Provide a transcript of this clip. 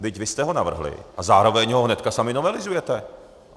Vždyť vy jste ho navrhli a zároveň ho hnedka sami novelizujete.